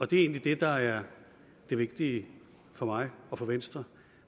det er egentlig det der er det vigtige for mig og for venstre